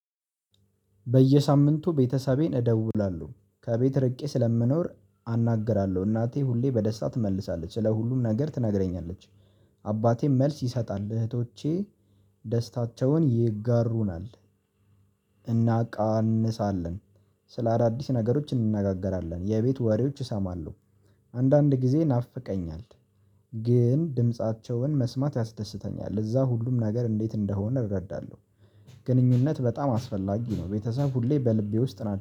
በየሳምንቱ ቤተሰቤን እደውላለሁ፤ ከቤት ርቄ ስለምኖር አናግራለሁ፤ እናቴ ሁሌ በደስታ ትመልሳለች ስለ ሁሉም ነገር ትነግረኛለች፤። አባቴም መልስ ይሰጣል እህቶቼ ደስታቸውን ይጋሩናል። እናቃንሳለን፤ ስለ አዳዲስ ነገሮች እንነጋገራለን የቤት ወሬዎች እሰማለሁ፤። አንዳንድ ጊዜ ናፍቀኛል ግን ድምፃቸውን መስማት ያስደስተኛል። እዛ ሁሉም ነገር እንዴት እንደሆነ እረዳለሁ፤። ግንኙነት በጣም አስፈላጊ ነው ቤተሰብ ሁሌ በልቤ ውስጥ ናቸው፤